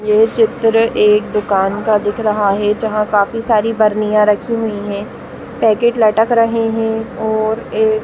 ये चित्र एक दुकान का दिख रहा है जहाँ काफी सारी बार्नियां रखी हुई है पैकेट लटक रहे है और एक --